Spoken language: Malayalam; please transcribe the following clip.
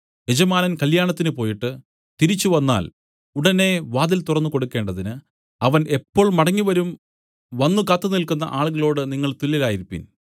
യജമാനൻ കല്യാണത്തിന് പോയിട്ട് തിരിച്ച് വന്നാൽ ഉടനെ വാതിൽ തുറന്നുകൊടുക്കേണ്ടതിന് അവൻ എപ്പോൾ മടങ്ങിവരും വന്നു കാത്തുനില്ക്കുന്ന ആളുകളോട് നിങ്ങൾ തുല്യരായിരിപ്പിൻ